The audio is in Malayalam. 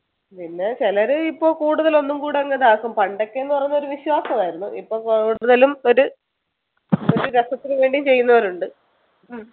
പിന്നെ ചിലര് ഇപ്പോൾ കൂടുതലൊന്നും കൂടെ അങ്ങ് ഇതാക്കും പണ്ടൊക്കെ എന്ന് പറയുന്നത് ഒരു വിശ്വാസമായിരുന്നു ഇപ്പോൾ കൂടുതലും ഒരു ഒരു രസത്തിനു വേണ്ടിയും ചെയ്യുന്നവരുണ്ട്